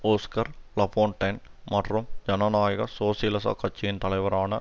Oskar Lafontaine மற்றும் ஜனநாயக சோசியலிச கட்சியின் தலைவரான